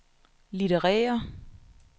litterære